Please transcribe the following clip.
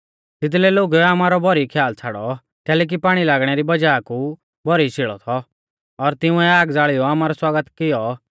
तिदलै लोगुऐ आमारौ भौरी ख्याल छ़ाड़ौ कैलैकि पाणी लागणै री वज़ाह कु भौरी शेल़ौ थौ और तिंउऐ आग ज़ाल़ियौ आमारौ स्वागत कियौ